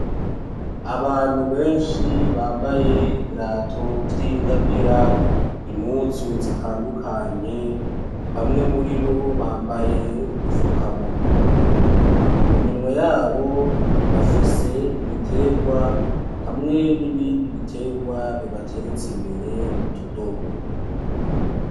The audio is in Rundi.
Abantu benshi bambaye ibirato vy'ingamira; impuzu zitandukanye, bamwe muri bo bambaye udufuka munwa, mu minwe yabo bafise ibitegwa; hamwe n'ibindi bitegwa bibateretse imbere mu tudobo.